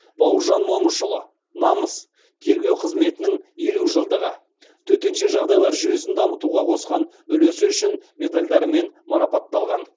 бауыржан момышұлы намыс тергеу қызметінің елу жылдығы төтенше жағдайлар жүйесін дамытуға қосқан үлесі үшін медальдарымен марапатталған